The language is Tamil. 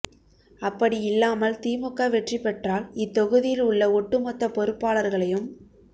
அப்படி இல்லாமல் திமுக வெற்றி பெற்றால் இத் தொகுதியில் உள்ள ஒட்டுமொத்த பொறுப்பாளர்களையும்